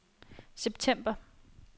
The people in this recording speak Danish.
september